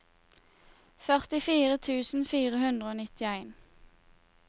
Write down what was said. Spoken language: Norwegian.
førtifire tusen fire hundre og nittien